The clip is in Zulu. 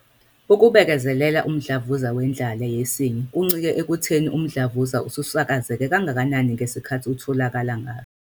ukubekezelela umdlavuza wendlala yesinye kuncike ekutheni umdlavuza ususakazeke kangakanani ngesikhathi utholakala ngaso.